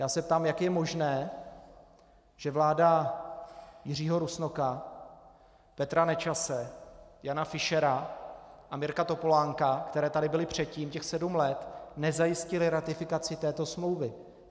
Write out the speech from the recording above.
Já se ptám, jak je možné, že vlády Jiřího Rusnoka, Petra Nečase, Jana Fischera a Mirka Topolánka, které tady byly předtím těch sedm let, nezajistily ratifikaci této smlouvy.